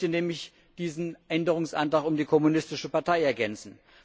Ich möchte nämlich diesen Änderungsantrag um die kommunistische Partei ergänzen.